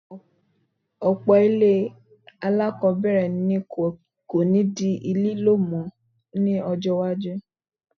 Ọ̀pọ̀ ìwé alákọ̀ọ́bẹ̀rẹ̀ ni kò ní di lílò mi ní ọjọ́ iwájú